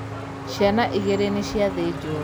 Ciana igīrī nīciathīnjwo